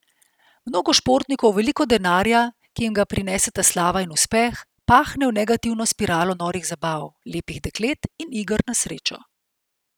Mnogo športnikov veliko denarja, ki jim ga prineseta slava in uspeh, pahne v negativno spiralo norih zabav, lepih deklet in iger na srečo.